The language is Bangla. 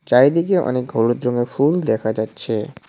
চারিদিকে অনেক হলুদ রঙের ফুল দেখা যাচ্ছে।